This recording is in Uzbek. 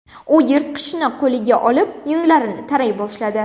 U yirtqichni qo‘liga olib, yunglarini taray boshladi.